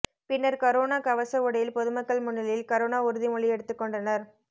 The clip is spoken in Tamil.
பின்னர் கரோனா கவச உடையில் பொதுமக்கள் முன்னிலையில் கரோனா உறுதி மொழி எடுத்துக் கொண்டனர்